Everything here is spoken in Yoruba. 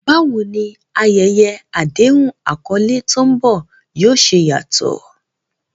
Báwo ni ayẹyẹ àdéhùn àkọlé tó ń bọ̀ yóò ṣe yàtọ̀?